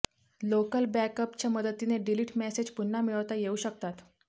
local बॅकअपच्या मदतीने delete message पुन्हा मिळवता येऊ शकतात